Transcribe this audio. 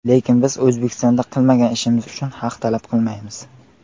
Lekin biz O‘zbekistondan qilmagan ishimiz uchun haq talab qilmaymiz.